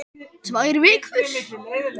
Tvær vikur?